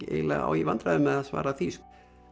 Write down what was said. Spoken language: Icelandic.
eiginlega á í vandræðum með að svara því